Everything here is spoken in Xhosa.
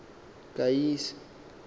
kayise